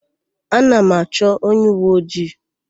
Ana m achọ onyeuweojii.